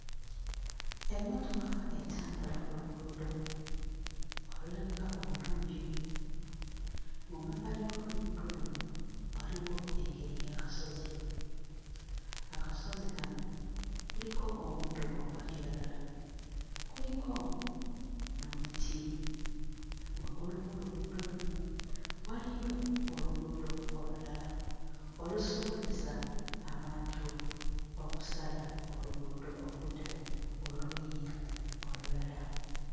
Emmotoka etambula ku luguudo olulabika obulungi. Mu mabbali g'oluguudo luno waliwo engeri y'akasozi, akasozi kano kuliko omuddo ogwa kiragala kuliko n'omuti, waggulu w'oluguudo luno waliyo oluguudo olulala olusobozesa abantu okusala oluguudo okudda oluuyi olulala.